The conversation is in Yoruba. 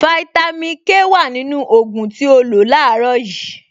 Fáítámì Ké wà nínú ògùn tí o lò láàárọ̀ yìí